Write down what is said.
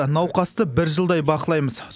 науқасты бір жылдай бақылаймыз